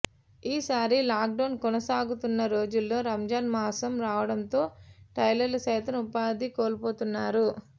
ఈసారి లాక్డౌన్ కొనసాగుతున్న రోజుల్లో రంజాన్ మాసం రావడంతో టైలర్లు సైతం ఉపాధి కోల్పోతున్నారు